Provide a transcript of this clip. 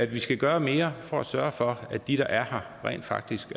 vi skal gøre mere for at sørge for at de der er her rent faktisk